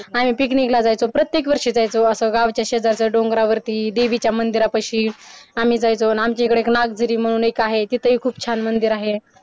आम्ही picnic ला जायचो प्रत्येक वर्षी जायचो असं गावच्या शेजारच्या डोंगरावरती देवीच्या मंदिरा पाशीआम्ही जायचो अन आमच्या इकडे एक नागदेवी म्हणून एक आहे तिथंही खूप छान मंदिर आहे